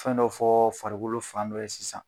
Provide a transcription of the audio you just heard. Fɛn dɔw fɔɔ farikolo fan dɔ ye sisan